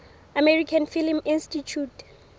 american film institute